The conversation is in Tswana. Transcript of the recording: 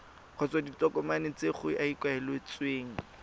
kgotsa ditokomane tse go ikaeletsweng